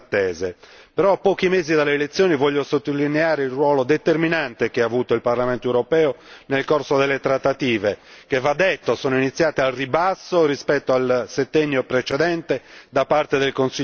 Però, a pochi mesi dalle elezioni, vorrei sottolineare il ruolo determinante che ha avuto il Parlamento europeo nel corso delle trattative che va detto sono iniziate al ribasso rispetto al settennio precedente da parte del Consiglio europeo.